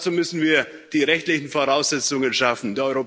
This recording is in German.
Dazu müssen wir die rechtlichen Voraussetzungen schaffen.